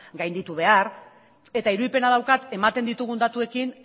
gainditu behar eta irudipena daukat ematen ditugun datuekin